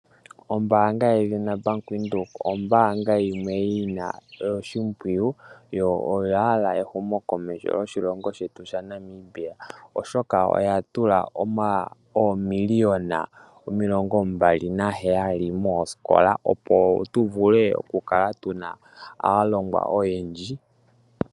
Ombaanga yedhina Bank Windhoek, ombaanga yimwe yina oshimpwiyu, yo oya hala ehumokomeho lyoshilongo shetu shaNamibia, oshoka oya tula oomiliyona omilongo mbali naheyali moosikola, opo tu vule oku kala tuna aalongwa oyendji.